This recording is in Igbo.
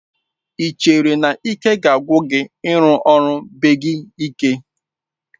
Ị chere na ike ga-agwụ gị n'ịrụ ọrụ beibg ike.